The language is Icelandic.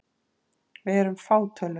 Við erum fátöluð.